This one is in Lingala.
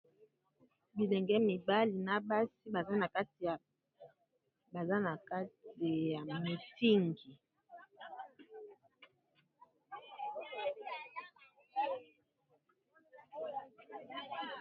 Bilenge mibali na basi baza na kati ya mitingi.